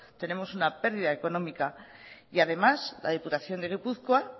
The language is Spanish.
tenemos una pérdida económica y además la diputación de gipuzkoa